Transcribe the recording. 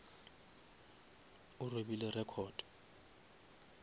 o robile record